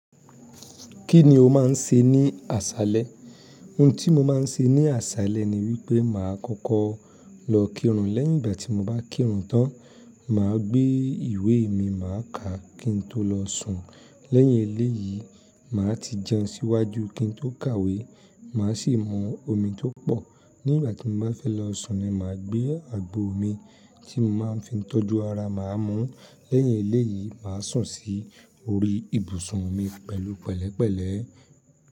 Kí ni o máà ń ṣe ní àṣálẹ́? Ohun tí mo máa ń ṣe ní àṣálẹ́ ni wípé màá kọ́kọ́ lọ kírun. Lẹ́yìn ìgbà tí mo bá kírun tán, màá gbé ìwé mi, màá kà á kí n tó lọ sùn. Lẹ́yìn eléyìí, màá ti jẹun síwájú kí n tó kàwé. Màá sì mú omi tó pọ̀. Ní ìgbà tí mo bá fẹ́ lọ sùn ni màá gbé àgbo omi tí mo máa ń fi ń tọ́jú ara màá mú. Lẹ́yìn eléyìí, màá sùn sí orí ibùsùn mi pẹ̀lú pẹ̀lẹ́pẹ̀lẹ́.